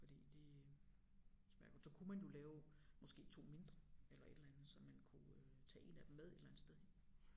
Fordi det smager jo så kunne man jo lave måske 2 mindre eller et eller andet så man kunne øh tage 1 af dem med et eller andet sted hen